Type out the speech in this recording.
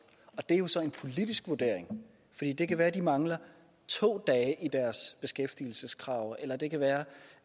og det er jo så en politisk vurdering det kan være de mangler to dage i deres beskæftigelseskrav eller det kan være